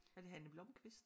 Er det Hanne Blomkvist?